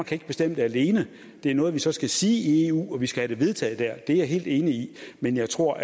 kan bestemme det alene det er noget vi så skal sige i eu og vi skal have det vedtaget der det er jeg helt enig i men jeg tror